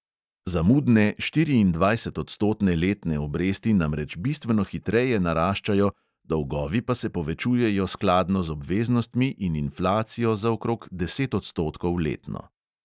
Zamudne štiriindvajsetodstotne letne obresti namreč bistveno hitreje naraščajo, dolgovi pa se povečujejo skladno z obveznostmi in inflacijo za okrog deset odstotkov letno.